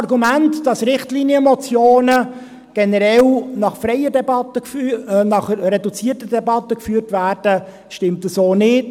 Auch das Argument, wonach Richtlinienmotionen generell in reduzierter Debatte beraten werden, stimmt so nicht.